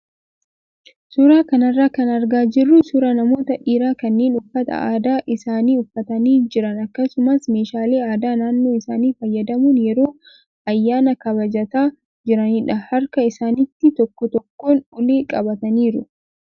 Suuraa kanarraa kan argaa jirru suuraa namoota dhiiraa kanneen uffata aadaa isaanii uffatanii jiran akkasumas meeshaalee aadaa naannoo isaanii fayyadamuun yeroo ayyaana kabajataa jiranidha. Harka isaaniitti tokko tokkoon ulee qabataniiru.